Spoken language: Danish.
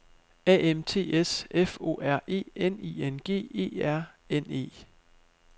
A M T S F O R E N I N G E R N E